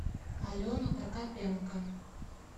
алена прокопенко